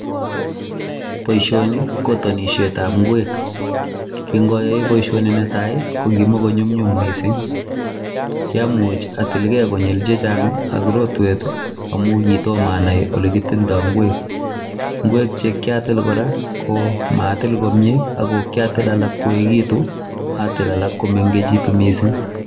Boisioni ko tonisietab ngwek. Kin ayae boisioni netai ko kimakonyumnyum mising, kiamuch atilge konyil chechang ak rotwet amun kitom anai ole kitilda ngwek. Ngwek che kiatil kora komatil komye. Kiatil alak koegitu atil alak komegitu mising.